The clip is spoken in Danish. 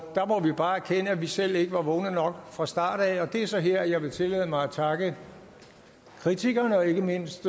der må vi bare erkende at vi selv ikke var vågne nok fra starten af og det er så her jeg vil tillade mig at takke kritikerne og ikke mindst